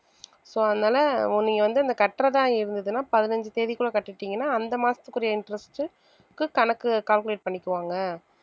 so அதனால ஒ நீங்க வந்து இந்த கட்டுறதா இருந்ததுன்னா பதினஞ்சு தேதிக்குள்ள கட்டிட்டீங்கன்னா அந்த மாசத்துக்குரிய interest க்கு கணக்கு calculate பண்ணிக்குவாங்க